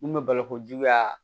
Mun bɛ baloko juguya